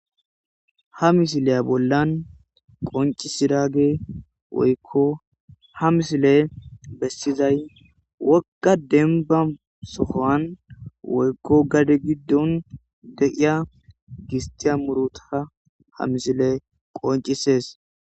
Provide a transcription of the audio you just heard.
ha misileya bollan qoncisiraage woykko ha misile bessizay wokka demba sohoan woykko gade giddon deiya gistiya muruta ha misile qoncisees